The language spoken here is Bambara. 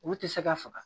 Olu tɛ se ka faga